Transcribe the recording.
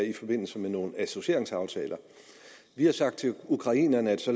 i forbindelse med nogle associeringsaftaler vi har sagt til ukrainerne at så